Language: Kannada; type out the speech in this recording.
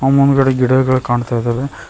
ಅ ಮುಂದಗಡೆ ಗಿಡಗಳ ಕಾಣ್ತಾ ಇದಾವೆ.